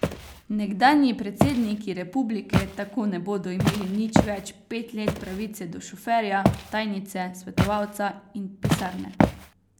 Nekdanji predsedniki republike tako ne bodo imeli nič več pet let pravice do šoferja, tajnice, svetovalca in pisarne.